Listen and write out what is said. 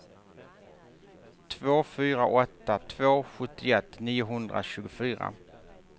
två fyra åtta två sjuttioett niohundratjugofyra